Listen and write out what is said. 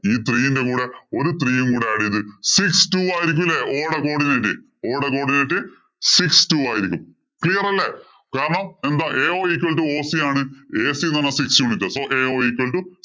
ഈ three ഇന്‍റെ കൂടെ ഒരു three യും കൂടി add ചെയ്ത് six two ആയിരിക്കില്ലേ o യുടെ coodianteo യുടെ coodiante six two ആയിരിക്കും. Clear അല്ലേ. കാരണം ao equal to oc ആണ് ac എന്ന് പറഞ്ഞാ six unit. So ao equal two